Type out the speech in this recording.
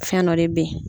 Fɛn dɔ de bɛ yen